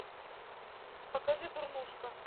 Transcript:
покажи дурнушка